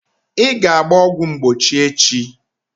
Ị ga-agba ọgwụ mgbochi echi!